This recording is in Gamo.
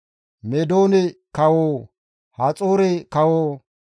Meedoone kawo, Haxoore kawo,